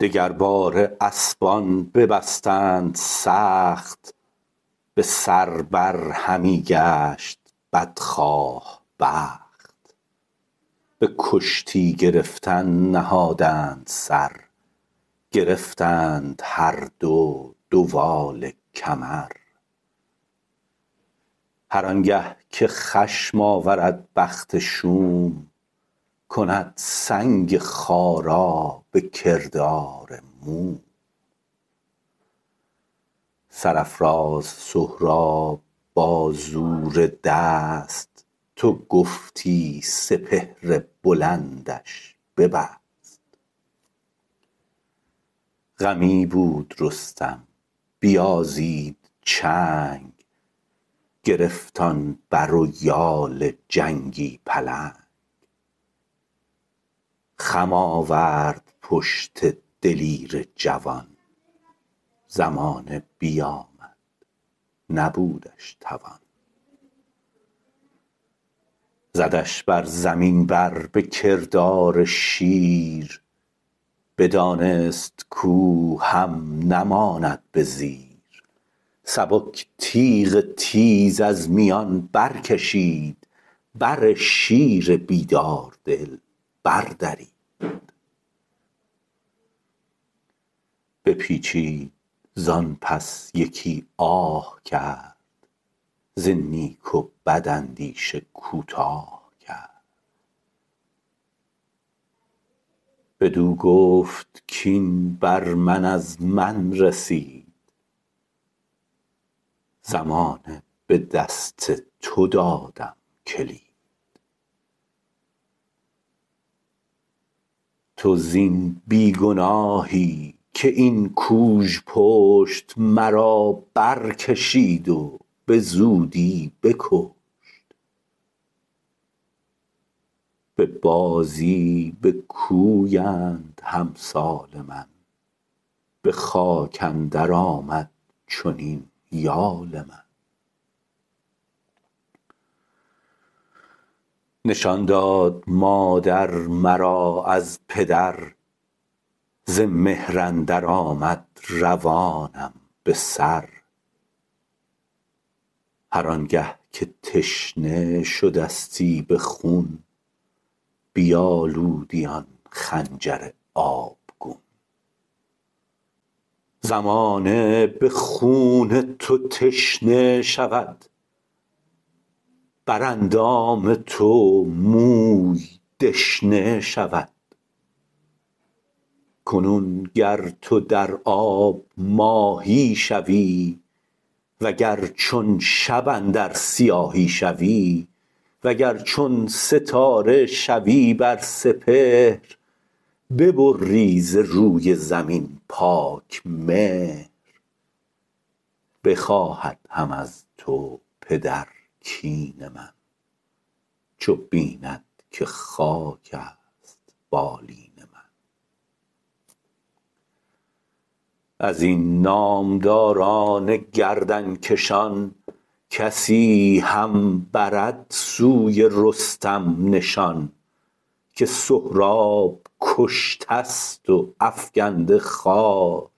دگر باره اسپان ببستند سخت به سر بر همی گشت بدخواه بخت به کشتی گرفتن نهادند سر گرفتند هر دو دوال کمر هرآنگه که خشم آورد بخت شوم کند سنگ خارا به کردار موم سرافراز سهراب با زور دست تو گفتی سپهر بلندش ببست غمی بود رستم بیازید چنگ گرفت آن بر و یال جنگی پلنگ خم آورد پشت دلیر جوان زمانه بیامد نبودش توان زدش بر زمین بر به کردار شیر بدانست کاو هم نماند به زیر سبک تیغ تیز از میان برکشید بر شیر بیدار دل بردرید بپیچید زانپس یکی آه کرد ز نیک و بد اندیشه کوتاه کرد بدو گفت کاین بر من از من رسید زمانه به دست تو دادم کلید تو زین بیگناهی که این کوژپشت مرابرکشید و به زودی بکشت به بازی بکویند همسال من به خاک اندر آمد چنین یال من نشان داد مادر مرا از پدر ز مهر اندر آمد روانم بسر هرآنگه که تشنه شدستی به خون بیالودی آن خنجر آبگون زمانه به خون تو تشنه شود براندام تو موی دشنه شود کنون گر تو در آب ماهی شوی و گر چون شب اندر سیاهی شوی وگر چون ستاره شوی بر سپهر ببری ز روی زمین پاک مهر بخواهد هم از تو پدر کین من چو بیند که خاکست بالین من ازین نامداران گردنکشان کسی هم برد سوی رستم نشان که سهراب کشتست و افگنده خوار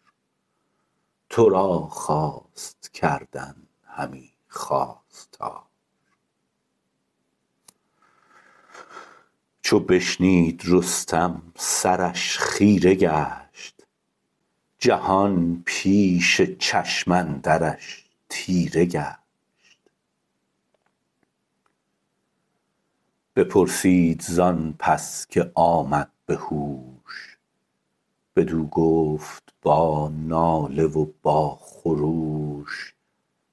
ترا خواست کردن همی خواستار چو بشنید رستم سرش خیره گشت جهان پیش چشم اندرش تیره گشت بپرسید زان پس که آمد به هوش بدو گفت با ناله و با خروش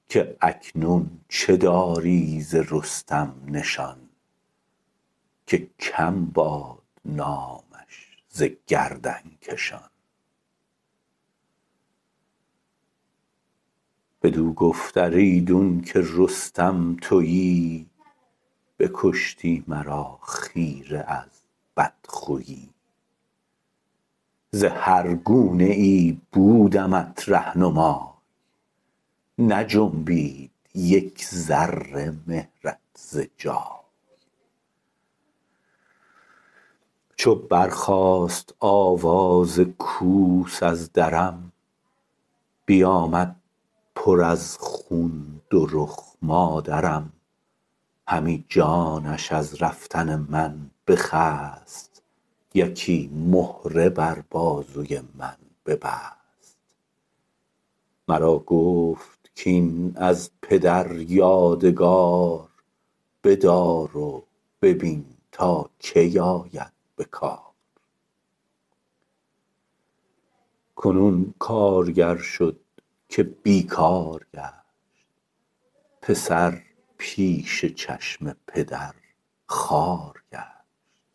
که اکنون چه داری ز رستم نشان که کم باد نامش ز گردنکشان بدو گفت ار ایدونکه رستم تویی بکشتی مرا خیره از بدخویی ز هر گونه ای بودمت رهنمای نجنبید یک ذره مهرت ز جای چو برخاست آواز کوس از درم بیامد پر از خون دو رخ مادرم همی جانش از رفتن من بخست یکی مهره بر بازوی من ببست مرا گفت کاین از پدر یادگار بدار و ببین تا کی آید به کار کنون کارگر شد که بیکار گشت پسر پیش چشم پدر خوار گشت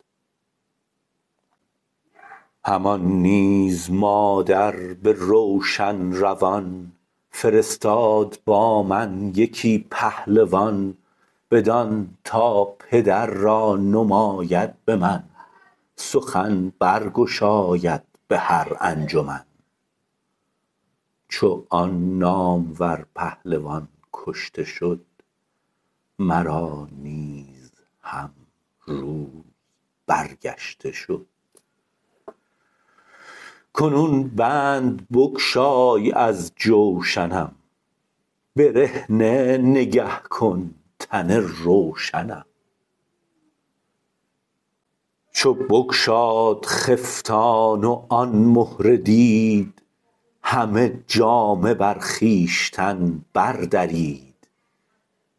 همان نیز مادر به روشن روان فرستاد با من یکی پهلوان بدان تا پدر را نماید به من سخن برگشاید به هر انجمن چو آن نامور پهلوان کشته شد مرا نیز هم روز برگشته شد کنون بند بگشای از جوشنم برهنه نگه کن تن روشنم چو بگشاد خفتان و آن مهره دید همه جامه بر خویشتن بردرید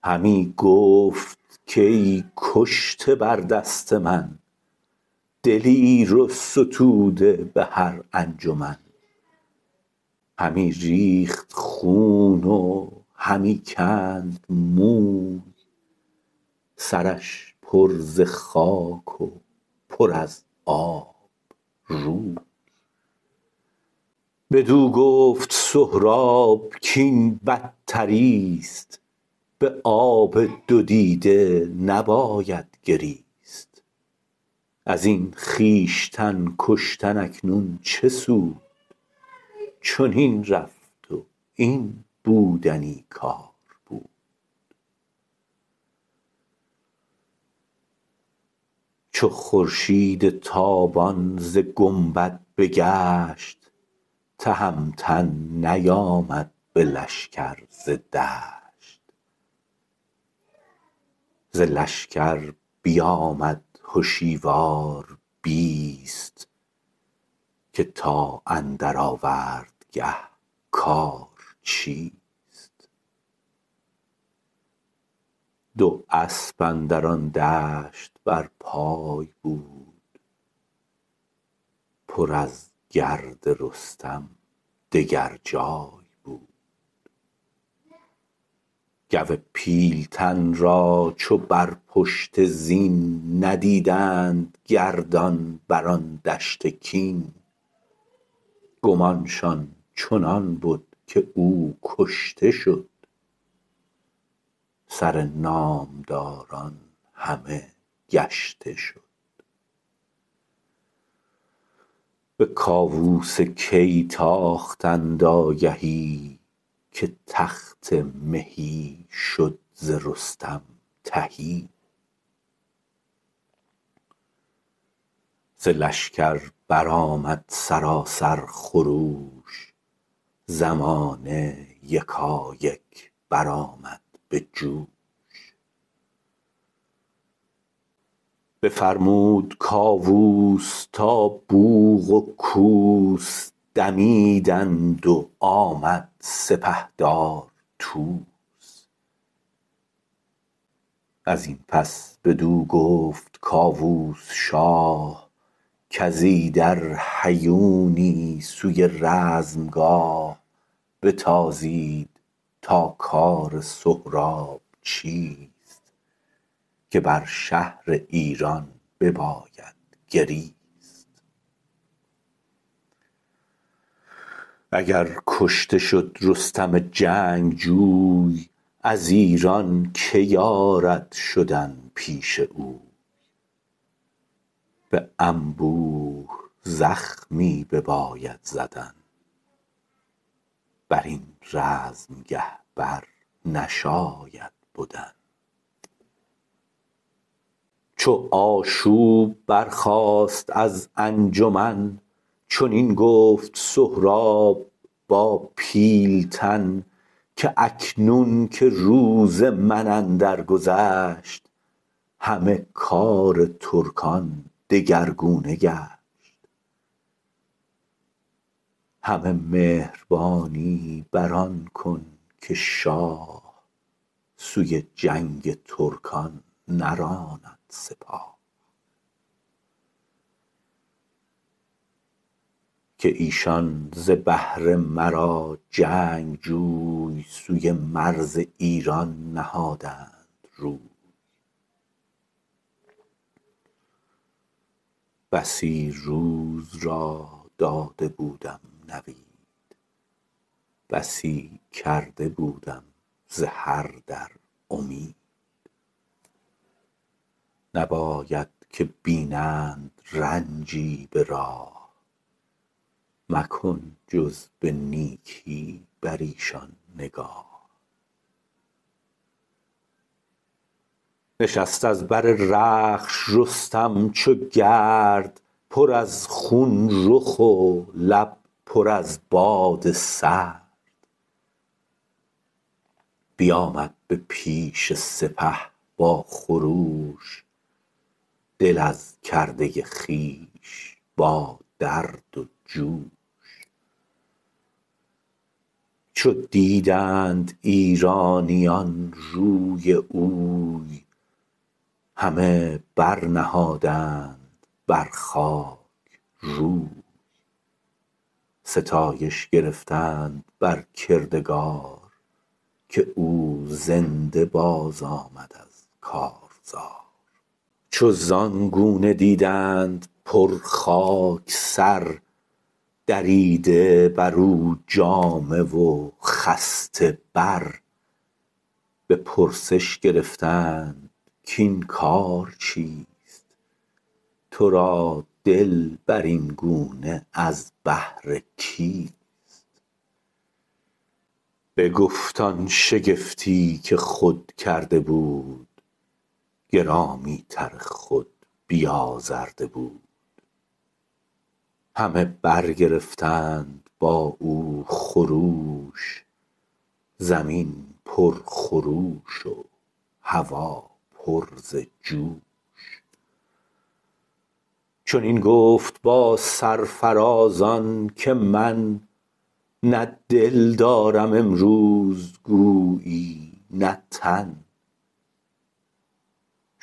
همی گفت کای کشته بر دست من دلیر و ستوده به هر انجمن همی ریخت خون و همی کند موی سرش پر ز خاک و پر از آب روی بدو گفت سهراب کین بدتریست به آب دو دیده نباید گریست ازین خویشتن کشتن اکنون چه سود چنین رفت و این بودنی کار بود چو خورشید تابان ز گنبد بگشت تهمتن نیامد به لشکر ز دشت ز لشکر بیامد هشیوار بیست که تا اندر آوردگه کار چیست دو اسپ اندر آن دشت برپای بود پر از گرد رستم دگر جای بود گو پیلتن را چو بر پشت زین ندیدند گردان بران دشت کین گمانشان چنان بد که او کشته شد سرنامداران همه گشته شد به کاووس کی تاختند آگهی که تخت مهی شد ز رستم تهی ز لشکر برآمد سراسر خروش زمانه یکایک برآمد به جوش بفرمود کاووس تا بوق و کوس دمیدند و آمد سپهدار طوس ازان پس بدو گفت کاووس شاه کز ایدر هیونی سوی رزمگاه بتازید تا کار سهراب چیست که بر شهر ایران بباید گریست اگر کشته شد رستم جنگجوی از ایران که یارد شدن پیش اوی به انبوه زخمی بباید زدن برین رزمگه بر نشاید بدن چو آشوب برخاست از انجمن چنین گفت سهراب با پیلتن که اکنون که روز من اندر گذشت همه کار ترکان دگرگونه گشت همه مهربانی بران کن که شاه سوی جنگ ترکان نراند سپاه که ایشان ز بهر مرا جنگجوی سوی مرز ایران نهادند روی بسی روز را داده بودم نوید بسی کرده بودم ز هر در امید نباید که بینند رنجی به راه مکن جز به نیکی بر ایشان نگاه نشست از بر رخش رستم چو گرد پر از خون رخ و لب پر از باد سرد بیامد به پیش سپه با خروش دل از کرده خویش با درد و جوش چو دیدند ایرانیان روی اوی همه برنهادند بر خاک روی ستایش گرفتند بر کردگار که او زنده باز آمد از کارزار چو زان گونه دیدند بر خاک سر دریده برو جامه و خسته بر به پرسش گرفتند کاین کار چیست ترادل برین گونه از بهر کیست بگفت آن شگفتی که خود کرده بود گرامی تر خود بیازرده بود همه برگرفتند با او خروش زمین پر خروش و هوا پر ز جوش چنین گفت با سرفرازان که من نه دل دارم امروز گویی نه تن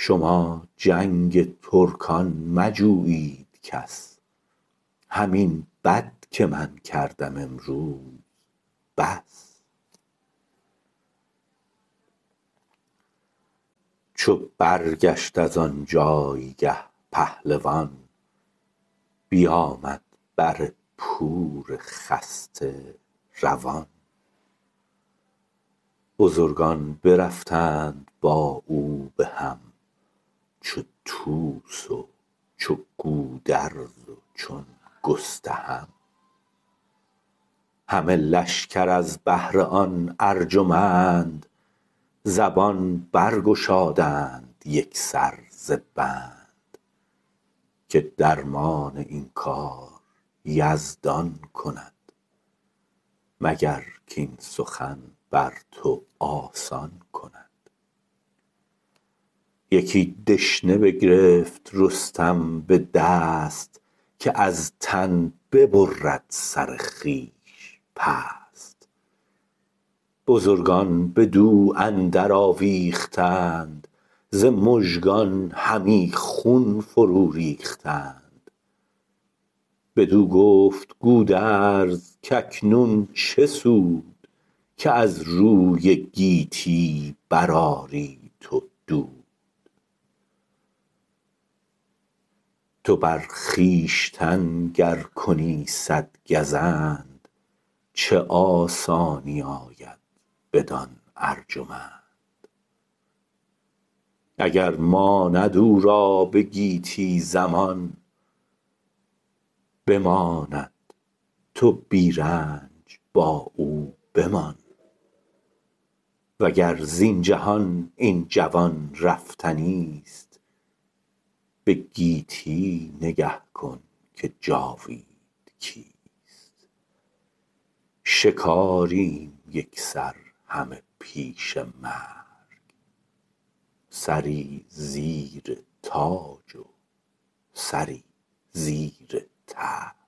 شما جنگ ترکان مجویید کس همین بد که من کردم امروز بس چو برگشت ازان جایگه پهلوان بیامد بر پور خسته روان بزرگان برفتند با او بهم چو طوس و چو گودرز و چون گستهم همه لشکر از بهر آن ارجمند زبان برگشادند یکسر ز بند که درمان این کار یزدان کند مگر کاین سخن بر تو آسان کند یکی دشنه بگرفت رستم به دست که از تن ببرد سر خویش پست بزرگان بدو اندر آویختند ز مژگان همی خون فرو ریختند بدو گفت گودرز کاکنون چه سود که از روی گیتی برآری تو دود تو بر خویشتن گر کنی صدگزند چه آسانی آید بدان ارجمند اگر ماند او را به گیتی زمان بماند تو بی رنج با او بمان وگر زین جهان این جوان رفتنیست به گیتی نگه کن که جاوید کیست شکاریم یکسر همه پیش مرگ سری زیر تاج و سری زیر ترگ